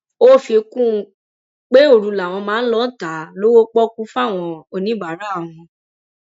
ó fi kún un pé òru làwọn máa ń lọọ ta á lọwọ pọọkú fáwọn oníbàárà àwọn